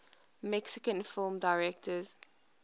mexican film directors